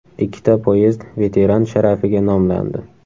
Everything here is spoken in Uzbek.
Ikkita poyezd veteran sharafiga nomlandi.